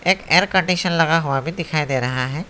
एक air condition लगा हुआ भी दिखाई दे रहा है।